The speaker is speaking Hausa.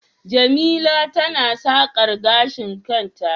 jemila tana sakar gashin kanta